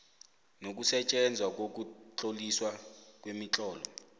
nokusetjenzwa kokutloliswa kwemitlolo